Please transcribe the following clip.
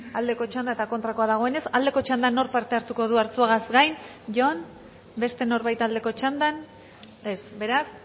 aldeko txanda eta kontrakoa dagoenez aldeko txandan nork parte hartuko du arzuagaz gain jon beste norbait aldeko txandan ez beraz